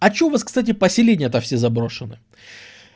а что у вас кстати поселение то все заброшены